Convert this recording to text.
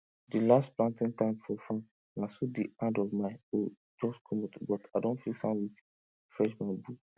di last planting time for farm na so di hand of my hoe jus comot but i don fix am wit fresh bambu